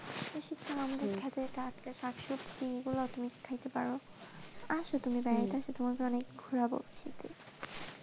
এই সাথে আমাদের থাকে টাটকা শাকসবজি এইগুলা তুমি খেতে পারো আসো তুমি বাড়িতে আসো তোমাকে অনেক ঘোরাবো।